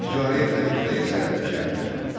İcarə edilən iqta isə şərti idi.